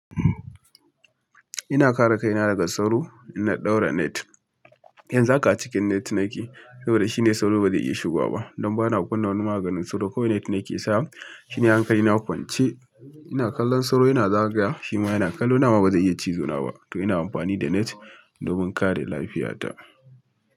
Ina kare kaina daga sauro, ina ɗaura net. Yanzu haka a cikin net na ke, saboda shi ne sauro ba zai iya shigowa ba. Don ba na kunna wani maganin sauro, kawai net ne ke sawa shi ne hankali na kwance, ina kallon sauro yana zagaya wa, shima yana kallo na amma ba zai iya cizo na ba. To ina amfani da net domin kare lafiyata.